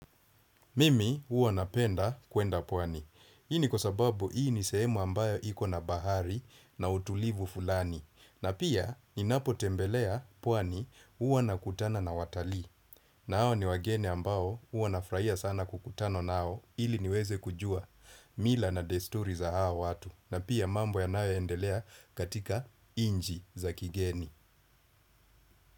Mimi huwa napenda kuenda pwani. Hii ni kwasababu hii nisehemu ambayo ikona bahari na utulivu fulani. Na pia ni napo tembelea pwani uwa nakutana na watalii. Na hao ni wageni ambao uwa nafrahia sana kukutana nao ili niweze kujua. Mila na desturi za hao watu. Na pia mambo yanayo endelea katika inji za kigeni.